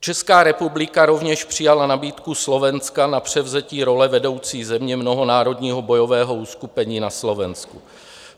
Česká republika rovněž přijala nabídku Slovenska na převzetí role vedoucí země mnohonárodního bojového uskupení na Slovensku.